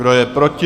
Kdo je proti?